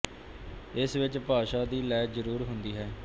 ਇਸ ਵਿੱਚ ਭਾਸ਼ਾ ਦੀ ਲੈਅ ਜ਼ਰੂਰ ਹੁੰਦੀ ਹੈ